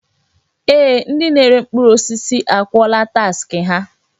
Ee! Ndị na-ere mkpụrụ osisi akwụọla taksị ha.